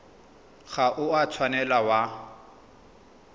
ga o a tshwanela wa